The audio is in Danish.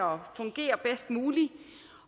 fungere bedst muligt